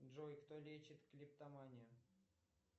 джой кто лечит клептоманию